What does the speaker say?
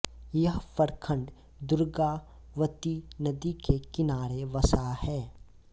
यह प्रखंड दुर्गावती नदी के किनारे बसा है